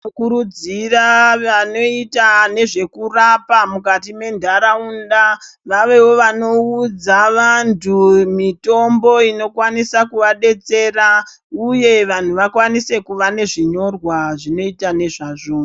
Tinokurudzira vanoyite nezvekurapa mukati mendaraunda, vavewo vanoudza vantu mitombo inokwanisa kuvadetsera uye vanhu vakwanise kuve nezvinyorwa zvinoyita nezvazvo.